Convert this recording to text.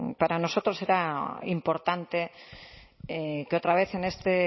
para nosotros era importante que otra vez en este